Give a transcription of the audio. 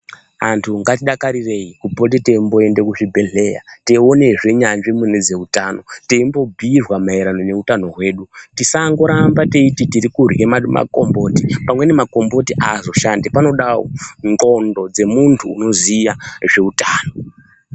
Antu ngatidakarirei kupote teimboenda kuzvibhedhleya. Teionezve nyanzvi munyaya dzezveutano. Teimbobhuirwa maererano ngeutano hwedu. Tisangoramba teiti tirikurye makomboti, pamweni makomboti haazoshandi. Panodawo ndxondo dzemuntu unoziya zveutano.